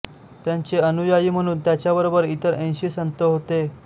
त्यांचे अनुयायी म्हणून त्याच्याबरोबर इतर ऐंशी संत होते